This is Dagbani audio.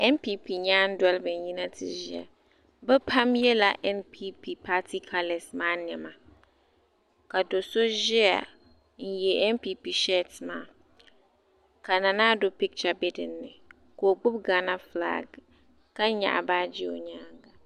Npp nyaan' doliba n-yina n-ti ʒiya bɛ pam yela Npp paati kalas maa nɛma ka do' so ʒiya n-ye Npp sheeti maa ka Nana Addo pikcha be din ni ka o gbubi Gaana fulaak ka nyaɣi baaji o nyaaga.